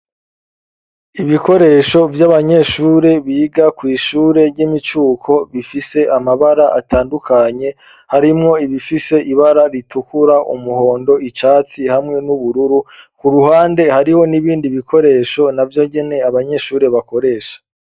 Ibikoresho vy'abanyeshure biga kw'ishure ry'imicuko bifise amabara atandukanye harimwo ibifise ibara ritukura umuhondo icatsi hamwe n'ubururu ku ruhande hariho n'ibindi bikoresho na vyo ngyene abanyeshure bakoresha.